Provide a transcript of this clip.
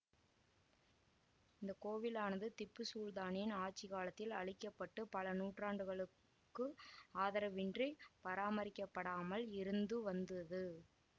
இந்த கோவிலானது திப்பு சுல்தானின் ஆட்சி காலத்தில் அழிக்க பட்டு பல நூற்றாண்டுகளுக்கு ஆதரவின்றி பராமரிக்கப்படாமல் இருந்துவந்தது